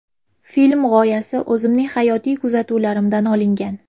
Film g‘oyasi o‘zimning hayotiy kuzatuvlarimdan olingan.